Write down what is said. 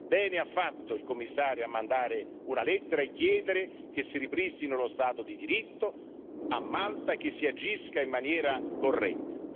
Bene ha fatto il Commissario a mandare una lettera e chiedere che si ripristini lo Stato di diritto a Malta e che si agisca in maniera corretta.